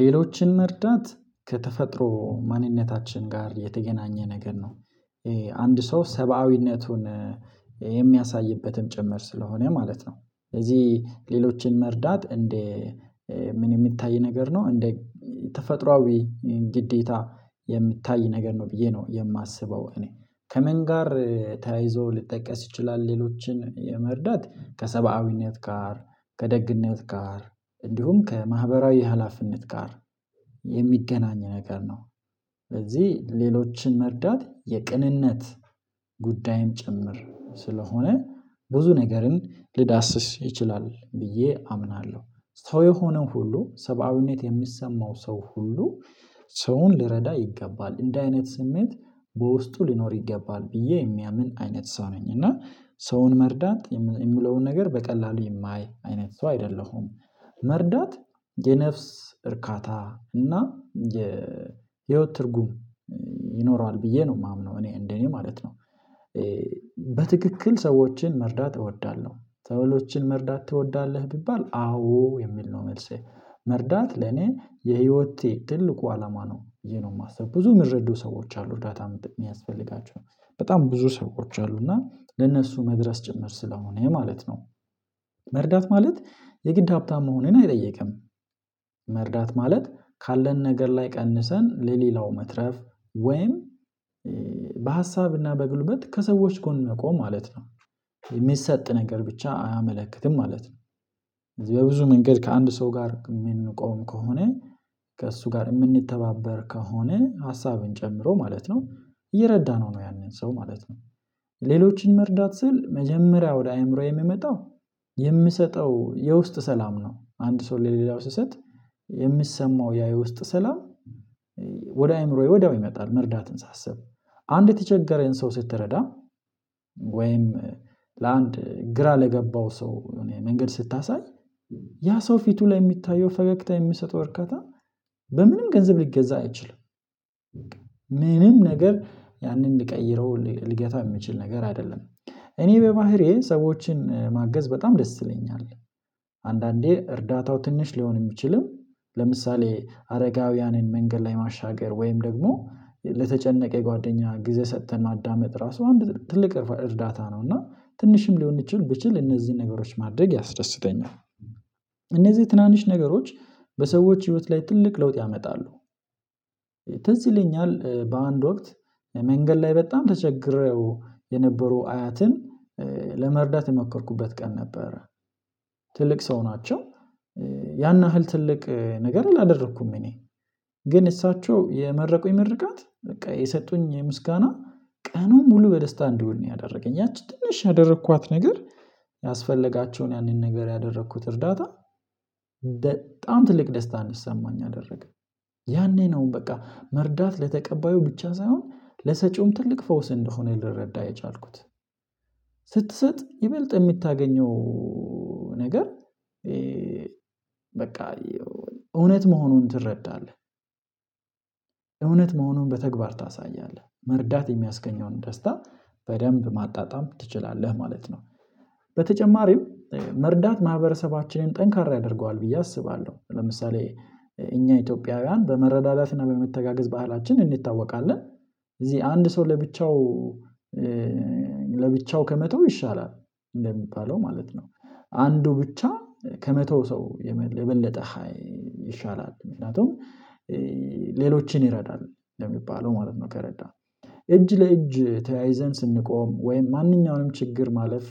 ሌሎችን መርዳት ከተፈጥሮ ማንነታችን ጋር የተገናኘ ነገር ነው። አንድ ሰው ሰብአዊነቱን የሚያሳይበትም ጭምር ስለሆነ ማለት ነው። ስለዚህ ሌሎችን መርዳት እንደ ምን የሚታይ ነገር ነው እንደ ተፈጥሮአዊ ግዴታ የሚታይ ነገር ነው ብዬ ነው የማስበው እኔ ከመን ጋር ተያይዞ ልጠቀስ ይችላል ሌሎችን የመርዳት ከሰብአዊነት ጋር ከደግነት ጋር እንዲሁም ከማህበራዊ ሀላፊነት ጋር የሚገናኝ ነገር ነው። ስለዚህ ሌሎችን መርዳት የቅንነት ጉዳይም ጭምር ስለሆነ ብዙ ነገርን ሊዳስስ ይችላል ብዬ አምናለሁ ሰው የሆነው ሁሉ ሰብአዊነት የሚሰማው ሰው ሁሉ ሰውን ሊረዳ ይገባል እንደ አይነት ስሜት በውስጡ ሊኖር ይገባል ብዬ የሚያምን አይነት ሰው ነኝ እና ሰውን መርዳት የሚለውን ነገር በቀላሉ የማይ አይነት ሰው አይደለሁም። መርዳት የነፍስ እርካታ እና የ የህይወት ትርጉም ይኖረዋል ብዬ ነው የማምነው እኔ እንደኔ ማለት ነው። በትክክል ሰዎችን መርዳት እወዳለሁ። ሰዎችን መርዳት ትወዳለህ ቢባል አዎ የሚል ነው መልሴ መርዳት ለኔ የህይወቴ ትልቁ አላማ ነው ይሄ ነው የማስበው ብዙ የሚረዱ ሰዎች አሉ እርዳታም ጥቅም ያስፈልጋቸዋል በጣም ብዙ ሰዎች አሉ እና ለእነሱ መድረስ ጭምር ስለሆነ የማለት ነው። መርዳት ማለት የግድ ሀብታም መሆኔን አይጠይቅም። መርዳት ማለት ካለን ነገር ላይ ቀንሰን ለሌላው መትረፍ ወይም በሀሳብና በጉልመት ከሰዎች ጎን መቆም ማለት ነው። የሚሰጥ ነገር ብቻ አያመለክትም ማለት ነው። በብዙ መንገድ ከአንድ ሰው ጋር የምንቆም ከሆነ ከእሱ ጋር የምንተባበር ከሆነ ሀሳብን ጨምሮ ማለት ነው እየረዳነው ነው ያንን ሰው ማለት ነው። ሌሎችን መርዳት ስል መጀመሪያ ወደ አእምሮዬ የሚመጣው የምሰጠው የውስጥ ሰላም ነው አንድ ሰው ለሌላው ሲሰጥ የሚሰማው ያ የውስጥ ሰላም። ወደ አእምሮዬ ወዲያው ይመጣል መርዳትን ሳስብ አንድ የተቸገረኝን ሰው ስትረዳ ወይም ለአንድ ግራ ለገባው ሰው የሆነ መንገድ ስታሳይ ያ ሰው ፊቱ ላይ የሚታየው ፈገግታ የሚሰጠው እርከታ በምንም ገንዘብ ሊገዛ አይችልም። ምንም ነገር ያንን ሊቀይረው ሊገታ የምችል ነገር አይደለም እኔ በባህሪዬ ሰዎችን ማገዝ በጣም ደስ ይለኛል። አንዳንዴ እርዳታው ትንሽ ሊሆን የሚችልም ለምሳሌ አረጋውያንን መንገድ ላይ ማሻገር ወይም ደግሞ ለተጨነቀ የጓደኛ ጊዜ ሰጥተን ማዳመጥ ራሱ አንድ ትልቅ እርዳታ ነው እና ትንሽም ሊሆን ቢችል ብችል እነዚህን ነገሮች ማድረግ ያስደስተኛል። እነዚህ ትናንሽ ነገሮች በሰዎች ህይወት ላይ ትልቅ ለውጥ ያመጣሉ። ትዝይለኛል በአንድ ወቅት መንገድ ላይ በጣም ተቸግሬው የነበሩ አያትን ለመርዳት የመከርኩበት ቀን ነበር። ትልቅ ሰው ናቸው ያን ያህል ትልቅ ነገር ላደረኩም እኔ ግን እሳቸው የመረቁኝ ምርቃት በቃ የሰጡኝ ምስጋና ቀኑን ሙሉ በደስታ እንዲሆን ነው ያደረገኝ ያቺ ትንሽ ያደረኳት ነገር ያስፈለጋቸውን ያንን ነገር ያደረኩት እርዳታ። በጣም ትልቅ ደስታ አንዲሰማኝ አደረገኝ። ያኔ ነው በቃ መርዳት ለተቀባዩ ብቻ ሳይሆን ለሰጪውም ትልቅ ፈውስ እንደሆነ ልረዳ የቻልኩት። ስትሰጥ ይበልጥ የምታገኘው ነገር በቃ እውነት መሆኑን ትረዳለህ? እውነት መሆኑን በተግባር ታሳያለህ መርዳት የሚያስገኘውን ደስታ በደንብ ማጣጣም ትችላለህ ማለት ነው። በተጨማሪም መርዳት ማህበረሰባችንን ጠንካራ ያደርገዋል ብዬ አስባለሁ ለምሳሌ እኛ ኢትዮጵያውያን በመረዳዳትና በመተጋገዝ ባህላችን እንዲታወቃለን። እዚህ አንድ ሰው ለብቻው ለብቻው ከመተው ይሻላል እንደሚባለው ማለት ነው። አንዱ ብቻ ከመተው ሰው የበለጠ ይሻላል ምክንያቱም ሌሎችን ይረዳል ለሚባለው ማለት ነው ከረዳህ እጅ ለእጅ ተያይዘን ስንቆም ወይም ማንኛውንም ችግር ማለፍ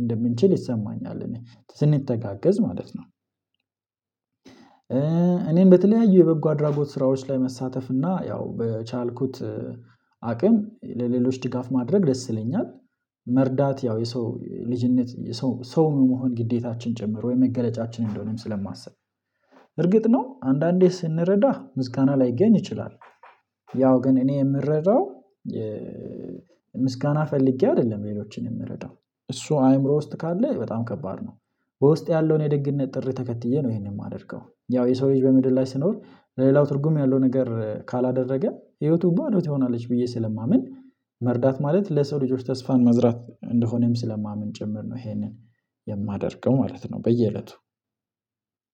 እንደምንችል ይሰማኛል እኔ ስንተጋገዝ ማለት ነው። እኔም በተለያዩ የበጎ አድራጎት ስራዎች ላይ መሳተፍ እና ያው በቻልኩት አቅም ለሌሎች ድጋፍ ማድረግ ደስ ይለኛል። መርዳት ያው የሰው ልጅነት ሰው መሆን ግዴታችን ጭምር ወይ መገለጫችን እንደሆነም ስለማስብ እርግጥ ነው አንዳንዴ ስንረዳ ምስጋና ላይገኝ ይችላል። ያው ግን እኔ የምረዳው ምስጋና ፈልጌ አይደለም ሌሎችን የምረዳው እሱ አይምሮ ውስጥ ካለ በጣም ከባድ ነው። በውስጤ ያለውን የደግነት ጥሪ ተከትዬ ነው ይሄንን የማደርገው ያው የሰው ልጅ በምድር ላይ ስኖር ለሌላው ትርጉም ያለው ነገር ካላደረገ ህይወቱ ባዶ ትሆናለች ብዬ ስለማምን መርዳት ማለት ለሰው ልጆች ተስፋን መዝራት እንደሆነም ስለማምን ጭምር ነው። ይሄንን የማደርገው ማለት ነው በየእለቱ